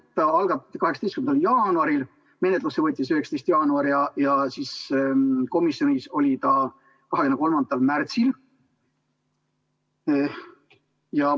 See algatati 18. jaanuaril, menetlusse võeti 19. jaanuaril ja komisjonis oli 23. märtsil.